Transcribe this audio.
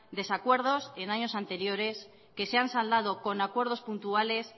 desacuerdos en años anteriores que se han saldado con acuerdos puntuales